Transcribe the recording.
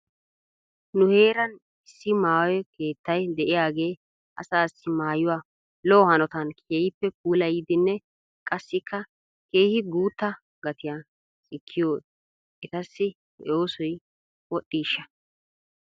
Nu heeran issi maayo keettay de'iyaagee asaasi maayuwaa lo'o hanotan keehippe puulayiddinne qassikka keehi guutta gatiyan sikkiyooee etassi he oosoy wodhdhiisha?